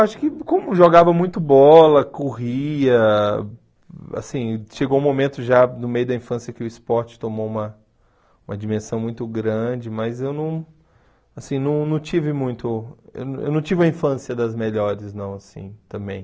Acho que como jogava muito bola, corria, assim, chegou um momento já no meio da infância que o esporte tomou uma uma dimensão muito grande, mas eu não assim não não tive muito, eu não tive a infância das melhores não, assim, também.